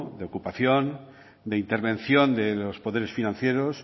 de ocupación de intervención de los poderes financieros